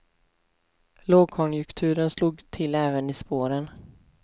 Lågkonjunturen slog till även i spåren.